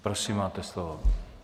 Prosím, máte slovo.